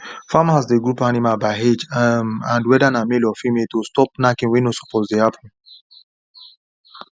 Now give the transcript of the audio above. farmers dey group animals by age um and whether na male or female to stop knacking wey no suppose dey happen